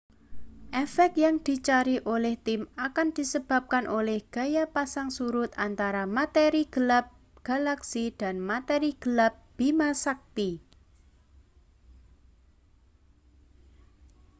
efek yang dicari oleh tim akan disebabkan oleh gaya pasang surut antara materi gelap galaksi dan materi gelap bima sakti